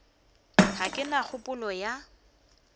ga ke na kgopolo ya